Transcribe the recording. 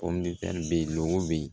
bɛ yen lobe